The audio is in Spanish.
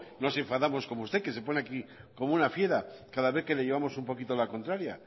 nos enfadamos como usted que se pone aquí como una fiera cada vez que le llevamos un poquito la contraria